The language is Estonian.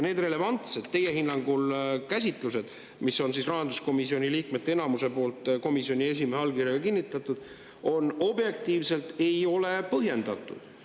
See teie hinnangul relevantne rahanduskomisjoni liikmete enamuse käsitlus, mis on komisjoni esimehe allkirjaga kinnitatud, ei ole objektiivselt põhjendatud.